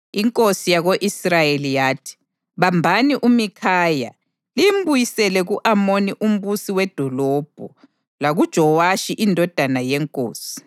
Inkosi yako-Israyeli yathi, “Bambani uMikhaya, limbuyisele ku-Amoni umbusi wedolobho lakuJowashi indodana yenkosi